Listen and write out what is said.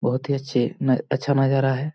बहुत ही अच्छे अच्छा नजारा है|